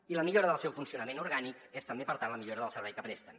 i la millora del seu funcionament orgànic és també per tant la millora del servei que presten